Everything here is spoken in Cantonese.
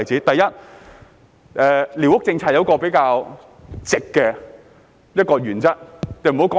第一，寮屋政策有一個比較直的原則。